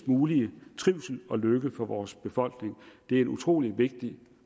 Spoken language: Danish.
mulige trivsel og lykke for vores befolkning det er en utrolig vigtig